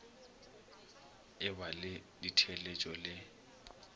e ba le ditheeletšo le